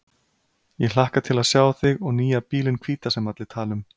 Ég hlakka til að sjá þig og nýja bílinn hvíta sem allir tala um.